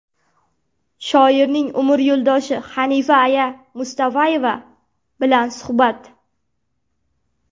Shoirning umr yo‘ldoshi Xanifa aya Mustafayeva bilan suhbat .